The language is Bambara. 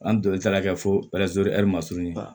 An don taara kɛ fo ɛri ma surunba